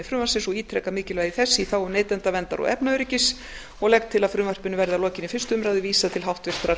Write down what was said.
frumvarpsins og ítreka mikilvægi þess í þágu neytendaverndar og efnaöryggis og legg til að frumvarpinu verði að lokinni fyrstu umræðu vísað til háttvirtrar